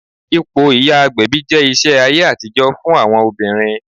Ipò ìyá agbẹ̀bí jẹ́ iṣẹ́ ayé àtijọ́ fún àwọn obìnrin